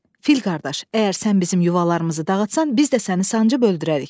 Fil qardaş, əgər sən bizim yuvalarımızı dağıtsan, biz də səni sancıb öldürərik.